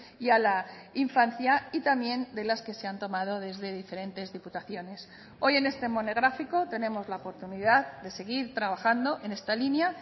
y a la infancia y también de las que se han tomado desde diferentes diputaciones hoy en este monográfico tenemos la oportunidad de seguir trabajando en esta línea